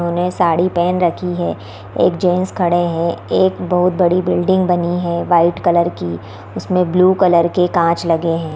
उन्होंने साड़ी पहन रखी है एक जेंट्स खड़े हैं एक बहोत बड़ी बिल्डिंग बनी है वाइट कलर की उसमें ब्लू कलर के काँच लगे हैं।